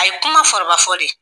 A ye kuma fɔrɔba fɔ de.